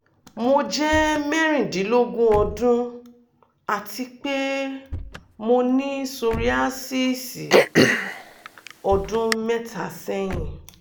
mo jẹmẹ́rìndínlógún ọdun ati pe mo ni psoriasis 3 years ago